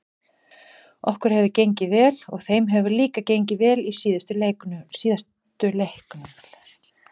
Okkur hefur gengið vel og þeim hefur líka gengið vel í síðustu leiknum.